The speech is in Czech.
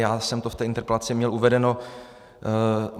Já jsem to v té interpelaci měl uvedeno.